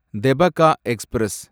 Tebhaga express